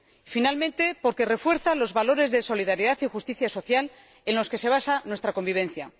finalmente, porque refuerza los valores de solidaridad y justicia social en los que se basa nuestra convivencia.